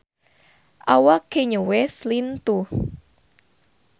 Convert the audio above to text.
Awak Kanye West lintuh